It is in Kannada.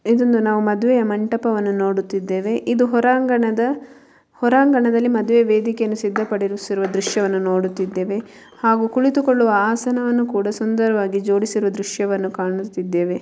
ಇದೊಂದು ನಾವು ಮದುವೆಯ ಮಂಟಪವನ್ನು ನೋಡುತ್ತಿದ್ದೇವೆ ಇದು ಹೊರಾಂಗಣದ ಹೊರಾಂಗಣದ ಮದುವೆ ವೇದಿಕೆಯಲ್ಲಿ ಸಿದ್ಧಪಡಿಸಿರುವ ದೃಶ್ಯವನ್ನು ನೋಡುತ್ತಿದ್ದೇವೆ ಹಾಗೂ ಕುಳಿತುಕೊಳ್ಳುವ ಆಸನ ಒಂದು ಸುಂದರವಾಗಿ ಜೋಡಿಸಿರುವ ದೃಶ್ಯವನ್ನು ಕಾಣುತ್ತಿದ್ದೇವೆ.